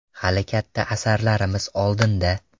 Hali katta asarlarimiz oldinda.